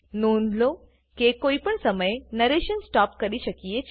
નોંધ લો કે કોઈ પણ સમયે નરેશન સ્ટોપ કરી શકીએ છે